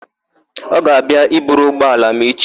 Ọ ga-abịa i buru ụgbọala m echi?